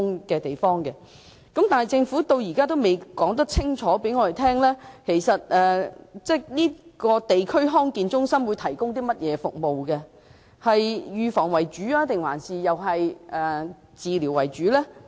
不過，政府至今仍未能清楚告訴我們，這間地區康健中心會提供甚麼服務，以及究竟會是預防還是治療為主。